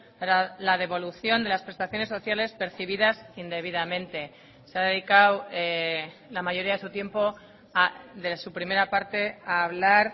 para la devolución de las prestaciones sociales percibidas indebidamente se ha dedicado la mayoría de su tiempo de su primera parte a hablar